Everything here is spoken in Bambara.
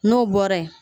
N'o bɔra ye